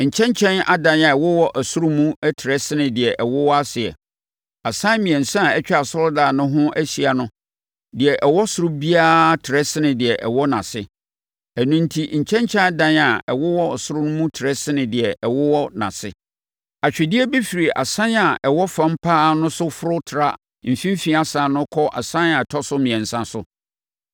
Nkyɛnkyɛn adan a ɛwowɔ soro no mu trɛ sene deɛ ɛwowɔ aseɛ. Asan mmiɛnsa a atwa asɔredan no ho ahyia no, deɛ ɛwɔ ɔsoro biara trɛ sene deɛ ɛwɔ nʼase, ɛno enti nkyɛnkyɛn adan a ɛwowɔ soro mu trɛ sene deɛ ɛwowɔ nʼase. Atwedeɛ bi firi asan a ɛwɔ fam pa ara no so foro tra mfimfini asan no kɔ asan a ɛtɔ so mmiɛnsa so.